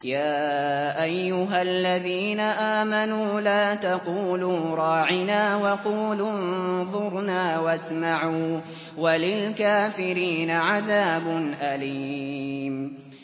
يَا أَيُّهَا الَّذِينَ آمَنُوا لَا تَقُولُوا رَاعِنَا وَقُولُوا انظُرْنَا وَاسْمَعُوا ۗ وَلِلْكَافِرِينَ عَذَابٌ أَلِيمٌ